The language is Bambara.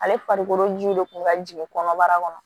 Ale farikolo ji de kun ka jigin kɔnɔbara kɔnɔ